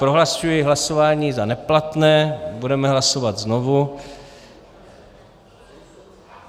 Prohlašuji hlasování za neplatné, budeme hlasovat znovu.